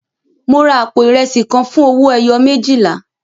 Mo ra àpò ìrẹsì kan fún owó ẹyọ méjìlá.